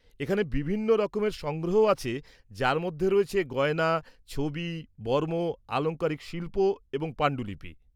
এখানে বিভিন্ন রকমের সংগ্রহ আছে যার মধ্যে রয়েছে গয়না, ছবি, বর্ম, আলংকারিক শিল্প এবং পাণ্ডুলিপি।